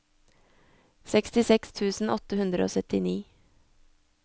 sekstiseks tusen åtte hundre og syttini